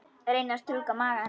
Reyni að strjúka maga hennar.